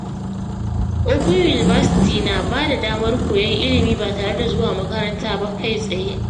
Open University na ba da damar koyon ilimi ba tare da zuwa makaranta kai-tsaye ba.